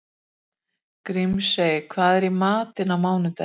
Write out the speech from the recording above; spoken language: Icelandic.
Grímey, hvað er í matinn á mánudaginn?